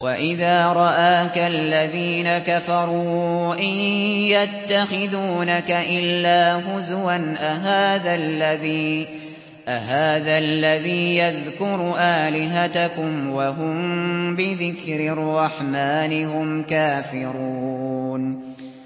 وَإِذَا رَآكَ الَّذِينَ كَفَرُوا إِن يَتَّخِذُونَكَ إِلَّا هُزُوًا أَهَٰذَا الَّذِي يَذْكُرُ آلِهَتَكُمْ وَهُم بِذِكْرِ الرَّحْمَٰنِ هُمْ كَافِرُونَ